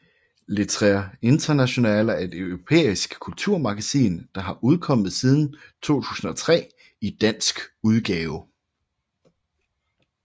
Lettre Internationale er et europæisk kulturmagasin der har udkommet siden 2003 i dansk udgave